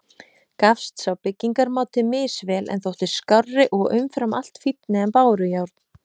Gafst sá byggingarmáti misvel, en þótti skárri og umfram allt fínni en bárujárn.